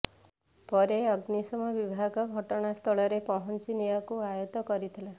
ପରେ ଅଗ୍ନିଶମ ବିଭାଗ ଘଟଣାସ୍ଥଳକରେ ପହଞ୍ଚି ନିଆଁକୁ ଆୟତ କରିଥିଲା